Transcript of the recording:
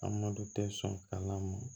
An madu tɛ sɔn kalan ma